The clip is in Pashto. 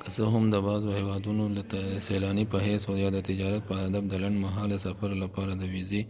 که څه هم ته بعضو هیوادونو ته د سیلاني په حیث او یا د تجارت په هدف د لنډ مهاله سفر لپاره د ویزې